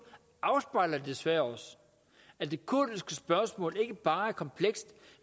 afspejler desværre også at det kurdiske spørgsmål ikke bare er komplekst